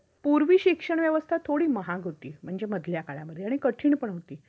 पूर्वी शिक्षण व्यवस्था थोडी महाग होती म्हणजे मधल्या काळामध्ये आणि कठीण पण होती.